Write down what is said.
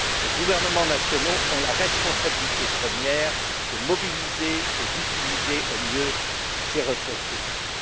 Les gouvernements nationaux ont la responsabilité première de mobiliser et d'utiliser au mieux ces ressources publiques.